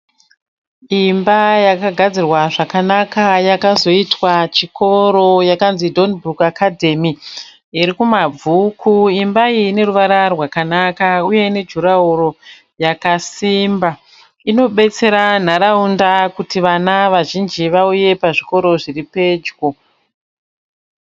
Imba yakagadzirwa zvakanaka yakazoitwa chikoro yakanzi Donbrook academy irikumabvuku imba iyi ineruvara rwakanaka uye inejurahoro yakasimba inobetsera nharaunda kuti vana vazhinji vauye pazvikoro zviripejo.